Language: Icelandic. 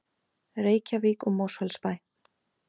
Reykjavík og Mosfellsbæ.